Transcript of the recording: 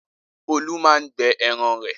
Olú máa ń gbẹ ẹran rẹ̀.